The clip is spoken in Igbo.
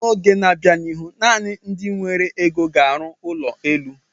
N'oge n'abia n'ihu, naanị ndị nwere ego ga arụ ụlọ elu.